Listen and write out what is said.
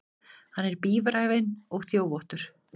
Hann er bíræfinn og þjófóttur.